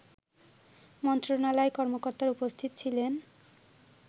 মন্ত্রণালয়ের কর্মকর্তারা উপস্থিত ছিলেন